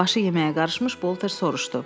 Başı yeməyə qarışmış Bolter soruşdu.